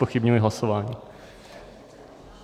Zpochybňuji hlasování.